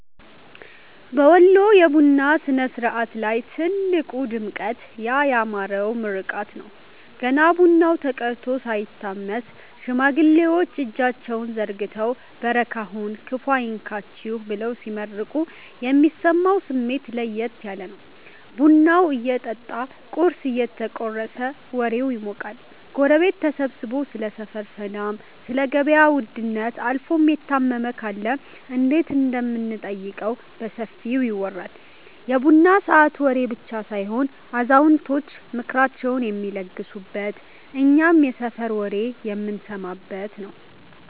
በወሎ የቡና ሥነ-ሥርዓት ላይ ትልቁ ድምቀት ያ ያማረው ምርቃት ነው። ገና ቡናው ተቀድቶ ሳይታመስ፣ ሽማግሌዎች እጃቸውን ዘርግተው "በረካ ሁኑ፤ ክፉ አይንካችሁ" ብለው ሲመርቁ የሚሰማው ስሜት ለየት ያለ ነው። ቡናው እየጠጣ ቁርስ እየተቆረሰም ወሬው ይሞቃል። ጎረቤት ተሰብስቦ ስለ ሰፈር ሰላም፣ ስለ ገበያ ውድነት አልፎም የታመመ ካለ እንዴት እንደምንጠይቀው በሰፊው ይወራል። የቡና ሰዓት ወሬ ብቻ ሳይሆን አዛውንቶች ምክራቸውን የሚለግሱበት፤ እኛም የሰፈር ወሬ የምንሰማበት ነዉ።